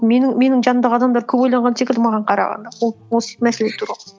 менің жанымдағы адамдар көп ойланған секілді маған қарағанда осы мәселе туралы